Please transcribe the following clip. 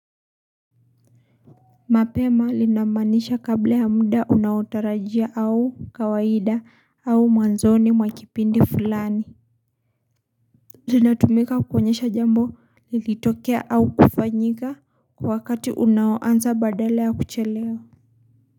Mapema linamaanisha kabla ya muda unaotarajia au kawaida au mwanzoni mwa kipindi fulani. Zinatumika kuonyesha jambo lilitokea au kufanyika kwa wakati unaoanza badala ya kuchelewa.